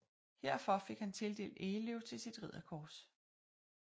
Herfor fik han tildelt egeløv til sit ridderkors